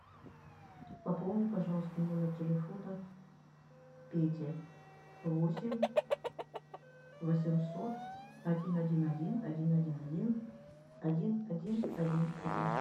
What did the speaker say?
пополни пожалуйста номер телефона пети восемь восемьсот один один один один один один один один один один